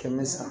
Kɛmɛ san